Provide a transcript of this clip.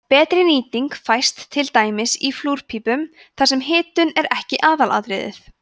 betri nýting fæst til dæmis í flúrpípum þar sem hitun er ekki aðalatriðið